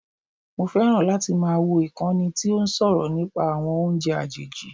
Mo fẹ́ràn láti máa wò ìkànnì tí ó ń sọ̀rọ̀ nípa àwọn oúnjẹ àjèjì